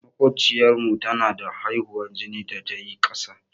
Maƙociyar mu da ta haihu, jinin ta yayi ƙasa.